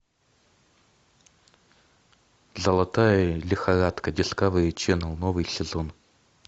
золотая лихорадка дискавери ченел новый сезон